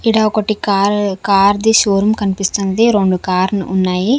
ఈడ ఒకటి car car ది షోరూం కనిపిస్తుంది రెండు కార్ లు ఉన్నాయి.